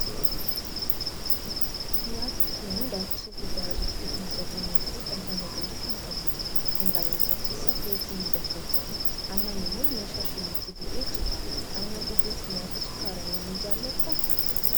Nyaatni kun daakuu soogiddee irraa kan hojjetamuu fi dhamdhama gaarii kan qabudha. Dhaangaa nyaataa keessaa pirootinii bakka bu'a. Aannan immoo meeshaa shiniitti bu'ee jira. Aannan dhuguu fi nyaata sukkaaraa ni jaalattaa?